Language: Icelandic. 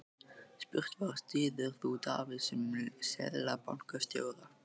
Spurt var, styður þú Davíð sem Seðlabankastjóra?